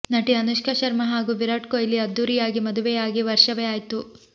ನಟಿ ಅನುಷ್ಕಾ ಶರ್ಮಾ ಹಾಗೂ ವಿರಾಟ್ ಕೊಹ್ಲಿ ಅದ್ದೂರಿಯಾಗಿ ಮದುವೆಯಾಗಿ ವರ್ಷವೇ ಆಯ್ತು